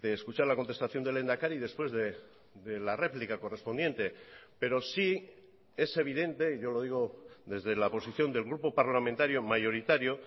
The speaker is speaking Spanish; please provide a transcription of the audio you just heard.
escuchar la contestación del lehendakari después de la réplica correspondiente pero sí es evidente y yo lo digo desde la posición del grupo parlamentario mayoritario